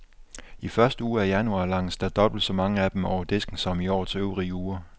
I første uge af januar langes der dobbelt så mange af dem over disken som i årets øvrige uger.